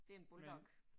Det en bulldog